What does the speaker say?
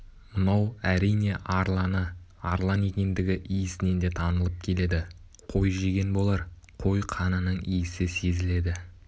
мынау әрине арланы арлан екендігі иісінен де танылып келеді қой жеген болар қой қанының иісі сезіледі